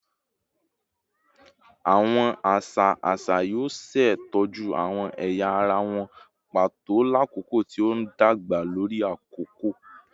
Awọn aṣa aṣa yoo ṣetọju awọn ẹya ara wọn pato lakoko ti o ndagba lori akoko